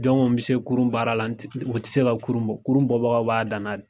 Jɔn ko n be se kurun baara la o n te se ka kurun bɔ kurun bɔ bagaw b'a dana de